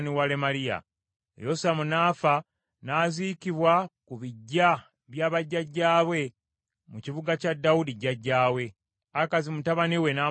Yosamu n’afa, n’aziikibwa ku biggya bya bajjajjaabe mu kibuga kya Dawudi jjajjaawe, Akazi mutabani we n’amusikira okuba kabaka.